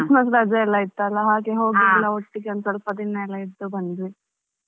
Christmas ರಜೆಲ್ಲಾ ಇತ್ತಲ್ಲಾ ಹಾಗೆ ಹೋಗಿ ಒಟ್ಟಿಗೆ ಒಂದ್ ಸ್ವಲ್ಪ ದಿನ ಎಲ್ಲಾ ಇದ್ದು ಬಂದ್ವಿ.